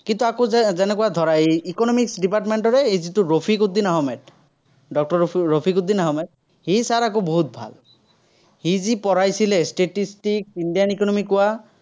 কিন্তু, আকৌ যে~যেনেকুৱা এই ধৰা এই economics department ৰে যিটো ৰফিকউদ্দিন আহমেদ। ডক্তৰ ৰফি ৰফিকউদ্দিন আহমেদ। সেই sir আকৌ বহুত ভাল। সি যি পঢ়াইছিলে statistics, indian economy কোৱা